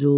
जो